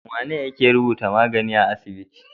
Wane yake rubuta magani a asibiti?